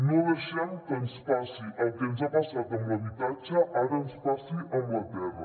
no deixem que ens passi que el que ens ha passat amb l’habitatge ara ens passi amb la terra